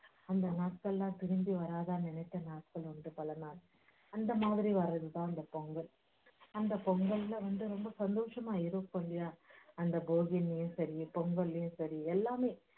அந்த நாட்களெல்லாம் திரும்பி வராதான்னு நினைச்ச நாட்கள் உண்டு பல நாள் அந்த மாதிரி வர்றதுதான் அந்த பொங்கல் அந்த பொங்கல்ல வந்து ரொம்ப சந்தோஷமா இருக்கும் இல்லயா அந்த அந்த பொங்கல்லேயும் சரி எல்லாமே